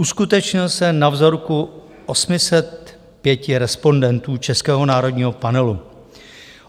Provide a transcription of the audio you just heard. Uskutečnil se na vzorku 805 respondentů českého národního panelu.